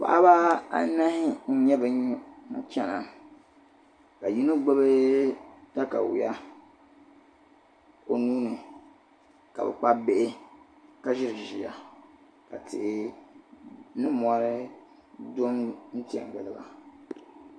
paɣaba anahi nyɛ ban chana ka yino gbubi takawia o nuuni ka bi Kpabi bihi ka ʒiri ʒiya ka ti ni mori che giliba